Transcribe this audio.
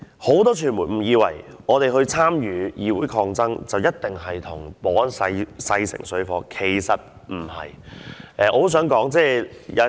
很多傳媒誤以為我們參與議會抗爭，一定與保安人員勢成水火，其實並不是這樣。